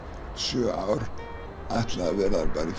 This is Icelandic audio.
sjö ár ætlaði að vera bara í